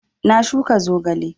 Na shuka zogale